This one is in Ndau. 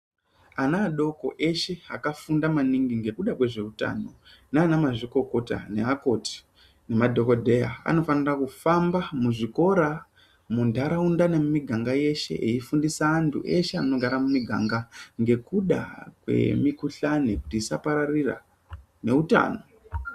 Ana adoko eshe akafunda maningi ngekuda kwezveutano nana mazvikokota naakoti, nemadhogodheya. Anofanira kufamba muzvikora muntaraunda nemumiganga yeshe echifundisa antu eshe anogara mumiganga. Ngekuda kwemikuhlani kuti isapararira neutano.